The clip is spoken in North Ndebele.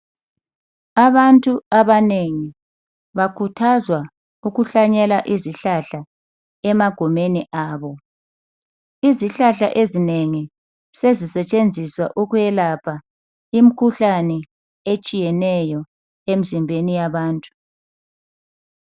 Abantu abanengi bakhuthazwa ukuhlanyela izihlahla emagumeni abo. Izihlahla ezinengi sezisetshenziswa ukwelapha imikhuhlane etshiyeneyo emzimbeni yabantu.